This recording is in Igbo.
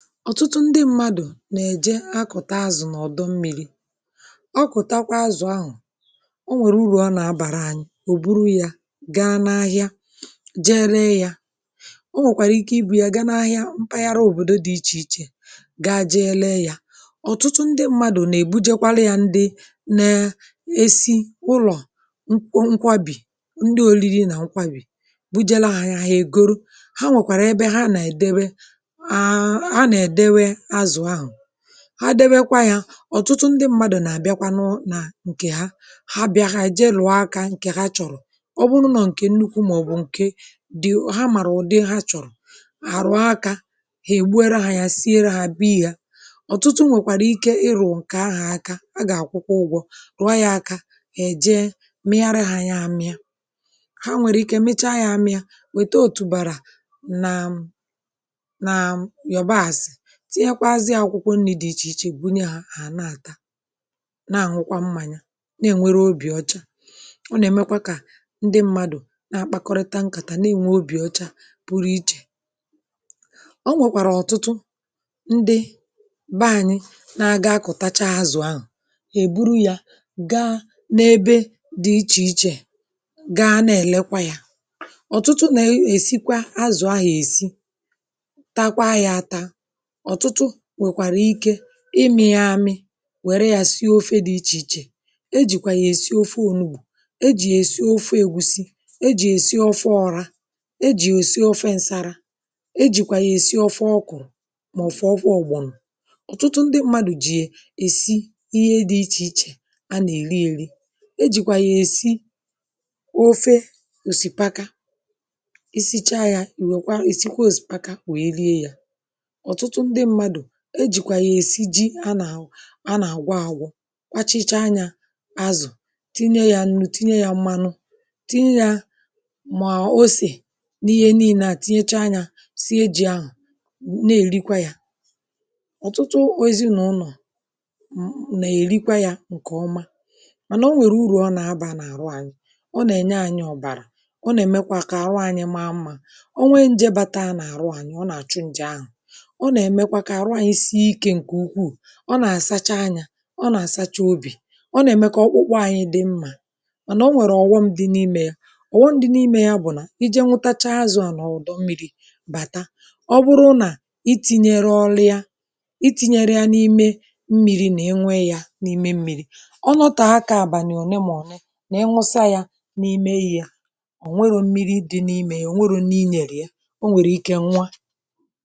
ọ̀tụtụ ndị mmadụ̀ nà-èje akụ̀ta azụ̀ n’ọ̀dọ̀ mmiri, ọ kụtakwa azụ̀ ahụ̀, onwèrè urù ọ nà-abàra anyị̇. ò buru ya gaa n’ahịa ree ya, o nwèkwàrà ike ibu ya gaa n’ahịa mpaghara, òbòdo dị ichè ichè, gaa ree ya. ọ̀tụtụ ndị mmadụ̀ nà-èbujekwa ya ndị na-esi ụlọ̀ nkwo, nkwȧbì, ndị oliri nà nkwȧbì bujere ahụ̀ ya egoro ha, dewekwa ya. ọ̀tụtụ ndị mmadụ̀ nà-àbịakwanụ nà ǹkè ha — ha bịȧ, ha èje lọ̀ọ akȧ ǹkè ha chọ̀rọ̀, ọ bụrụ nà ọ bụ̀ ǹkè nnukwu màọ̀bụ̀ ǹke dị obere, ha màrụ̀ ụ̀dị ha chọ̀rọ̀, àrụ akȧ hà ègbuo redha ya, sie redha b ya. ọ̀tụtụ nwèkwàrà ike ịrụ ǹkè ahà aka ha, gà-àkwụ ụgwọ̇ rụọ ya aka, èje mighara ha, ya amịa, ha nwèrè ike mecha ya amịa, wèta òtùbàrà. nàà m tinyekwa azị̇à akwụkwọ nni̇ dị ichè ichè, bunye à à na-àta, na-àhụkwa mmanya. na-ènwere obì ọcha, ọ nà-èmekwa kà ndị mmadụ̀ na-akpakọrịta nkàtà, na-ènwe obì ọcha pụrụ iche. ọ nwèkwàrà ọ̀tụtụ ndị bȧanyị na-agàkụ̀tacha azụ̀ ahụ̀, èburu ya gaa n’ebe dị ichè ichè, gaa na-elekwa yȧ. ọ̀tụtụ na-esikwa azụ̀ ahụ̀ esi, takwaa ya, um ata imi̇ yami, wère yȧ sị ofé dị ichè ichè — e jìkwà yà èsị ofe ònugbù, e jì èsị ofe ègusi, e jì èsị ofe ọrȧ, e jì èsị ofe ǹsȧrȧ, e jìkwà yà èsị ofe ọkụ̀rụ̀, màọ̀fụ ọkụ ọ̀gbọ̀nụ̀. ọ̀tụtụ ndị mmadụ̀ jì èsi ihe dị ichè ichè a nà-èri ėri̇; e jìkwà yà èsị ofe òsìpaka, isi chaa yȧ, ìwèkwa èsịkwa òsìpaka wèe rie yȧ. e jìkwà yà èsi ji anà anà-àgwọ àgwọ, kpachicha anyȧ azụ̀, tinye ya nu, tinye yȧ mmanụ, tinye yȧ mà osè, n’ihe niile, tinyecha anyȧ, sie ji̇ ahụ̀, na-èrikwa ya. ọ̀tụtụ ozinụ̀ nọ̀ m nà-èrikwa yȧ ǹkè ọma, mànà o nwèrè urù ọ nà-abȧ n’àrụ ànyị̇ — ọ nà-ènye anyị̇ ọ̀bàrà, ọ nà-èmekwa kà àrụ anyị̇ m’amma, ọ nwee njėbata n’àrụ ànyị̇, ọ nà-àchụ njị ahụ̀, ọ nà-àsacha nyȧ, ọ nà-àsacha obì, ọ nà-ème ka ọkpụkpụ anyị̇ dị mmȧ. mànà onwèrè ọ̀wọm dị n’imė — ọ̀wọm dị n’imė bụ̀ nà iji̇ nwụtacha azụ̀ ànọ̀dụ mmịrị̇ bàta, ọ bụrụ nà iti̇nyere ọlụ ya, iti̇nyere ya n’ime mmịrị, nà inwe yȧ n’ime mmịrị, ọ nọtọ aka àbàlị̀ òne mà ọ̀ne, nà inwusa ya n’ime ya, ọ̀ nwere mmịrị dị n’imė yà, ọ̀ nwere n’inèrè ya.